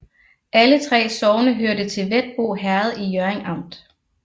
Alle 3 sogne hørte til Hvetbo Herred i Hjørring Amt